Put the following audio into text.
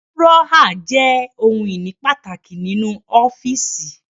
Dúrọ́à jẹ́ ohun-ìní pàtàkì nínú ọ́fíísì.